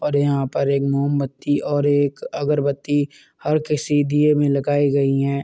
और यहाँ पर एक मोमबत्ती और एक अगरबत्ती हर में लगायी गइ हैं।